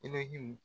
I bɛ hinɛ